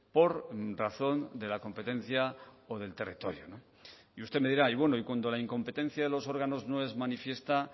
por razón de la competencia o del territorio y usted me dirá y bueno y cuando la incompetencia de los órganos no es manifiesta